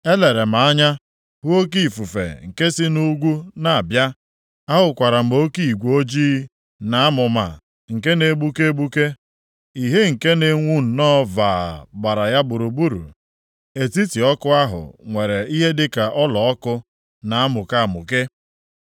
Elere m anya hụ oke ifufe nke si nʼugwu na-abịa, ahụkwara m oke igwe ojii na amụma nke na-egbuke egbuke; ìhè nke na-enwu nnọọ vaa gbara ya gburugburu. Etiti ọkụ ahụ nwere ihe dịka ọlaọkụ na-amụke amụke.